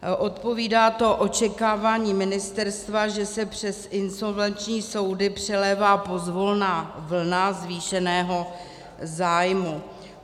Odpovídá to očekávání ministerstva, že se přes insolvenční soudy přelévá pozvolna vlna zvýšeného zájmu.